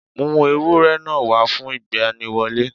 Mú ewúrẹ́ náà wá fún ìgbaniwọlé